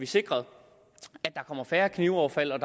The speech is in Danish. sikret at der kommer færre knivoverfald og